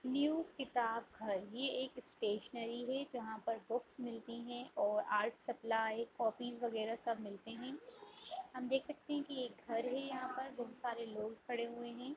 न्यू किताब घर ये एक स्टैशनेरी है जहाँ पर बुक्स मिलती हैं और आर्ट्स सप्लाई कॉपी वगैहरा सब मिलते हैं हम देख सकते हैं ये घर है यहाँ पर बहोत सारे लोग खड़े हुए हैं।